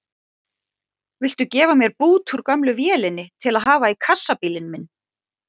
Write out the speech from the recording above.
Viltu gefa mér bút úr gömlu vélinni til að hafa í kassabílinn minn?